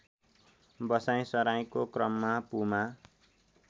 बसाइँसराईको क्रममा पुमा